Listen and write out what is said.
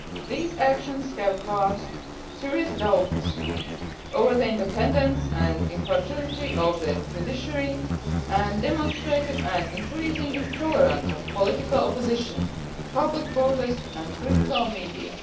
These actions have cast serious doubts over the independence and impartiality of the judiciary and demonstrated an increasing intolerance of political opposition, public protest and critical media.